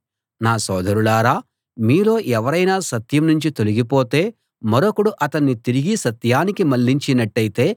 నా సోదరులారా మీలో ఎవరైనా సత్యం నుంచి తొలగిపోతే మరొకడు అతన్ని తిరిగి సత్యానికి మళ్ళించినట్టయితే